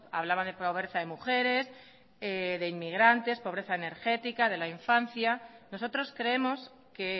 hablaba de pobreza de mujeres de pobreza de inmigrantes de pobreza energética de la infancia nosotros creemos que